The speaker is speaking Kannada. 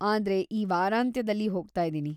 ಆದ್ರೆ ಈ ವಾರಾಂತ್ಯದಲ್ಲಿ ಹೋಗ್ತಾಯಿದೀನಿ.